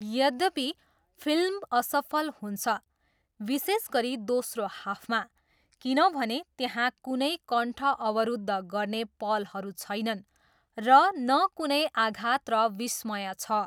यद्यपि, फिल्म असफल हुन्छ, विशेष गरी दोस्रो हाफमा, किनभने त्यहाँ कुनै कण्ठ अवरुद्ध गर्ने पलहरू छैनन् र न कुनै आघात र विस्मय छ।